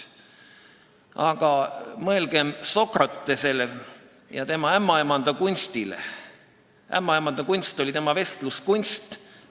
Aga mõelgem Sokratesele ja tema ämmaemandakunstile – ämmaemandakunst oli tema vestluskunst.